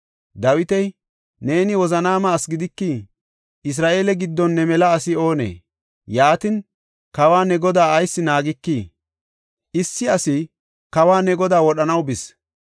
Dawiti, “Neeni wozanaama asi gidikii? Isra7eele giddon ne mela asi oonee? Yaatin, kawa, ne godaa ayis naagikii? Issi asi kawa, ne godaa wodhanaw bis.